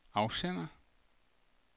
afsender